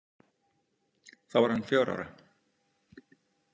Þá var hann fjögurra ára.